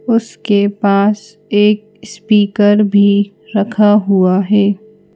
उसके पास एक स्पीकर भी रखा हुआ है।